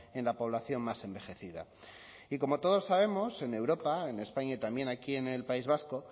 en la población más envejecida y como todos sabemos en europa en españa y también aquí en el país vasco